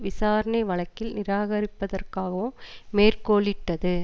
விசாரணை வழக்கில் நிராகரிப்பதற்காகவும் மேற்கோளிட்டது